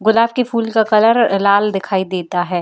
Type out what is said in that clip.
गुलाब के फूल का कलर लाल दिखाई देता है।